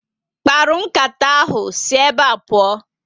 Mkparu nkata ahụ si ébé pụọ